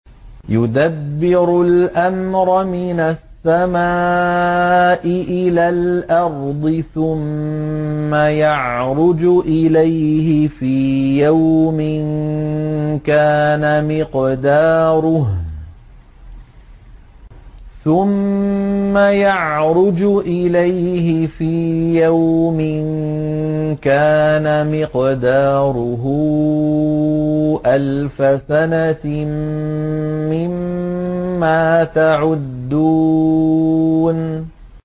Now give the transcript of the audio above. يُدَبِّرُ الْأَمْرَ مِنَ السَّمَاءِ إِلَى الْأَرْضِ ثُمَّ يَعْرُجُ إِلَيْهِ فِي يَوْمٍ كَانَ مِقْدَارُهُ أَلْفَ سَنَةٍ مِّمَّا تَعُدُّونَ